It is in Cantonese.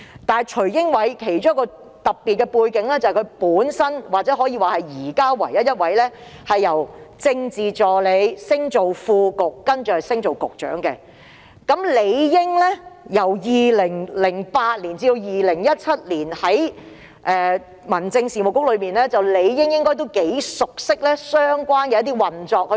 但徐英偉有一個特別的背景，就是他是目前唯一升任副局長並再晉升至局長的政治助理，而且在2008年至2017年期間於民政事務局任職政治助理，應該頗為熟悉相關運作。